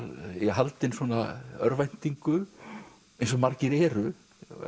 haldinn örvæntingu eins og margir eru